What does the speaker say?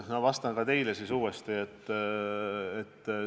No vastan siis uuesti ka teile.